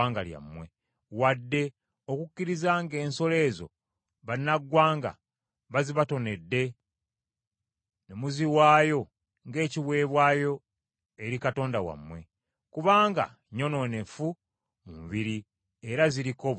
wadde okukkirizanga ng’ensolo ezo bannamawanga bazibatonedde ne muziwaayo ng’ekiweebwayo eri Katonda wammwe. Kubanga nnyonoonefu mu mubiri era ziriko obukyamu.”